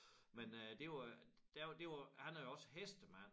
Men øh det jo øh der var det var han er jo også hestemand